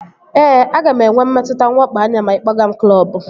Ee, aga m enwe mmetụta nwakpo anya ma ị kpọga m klọbu